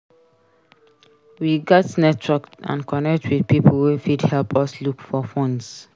We gats network and connect with pipo wey fit help us look for funds.